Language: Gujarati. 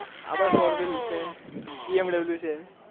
આપડે four wheel bmw છે